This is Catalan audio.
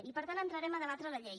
i per tant entrarem a debatre la llei